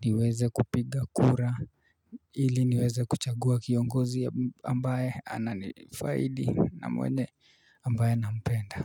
niweze kupiga kura, ili niweze kuchagua kiongozi ambaye anani faidi na mwenye ambaye nampenda.